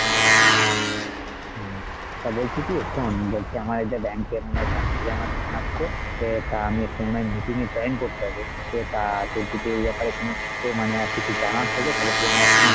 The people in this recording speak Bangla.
হম তা বলছি কি শোন্ আমার একটা bank এ মনে হয় bank থেকে আমার phone আসছে তো এটা আহ আমি একটু মনে হয় meeting এ join করতে হবে তা তোর যদি এই ব্যাপারে কোনো মানে আর কিছু যদি জানার থাকে তাহলে তুই আমায় একসময় ,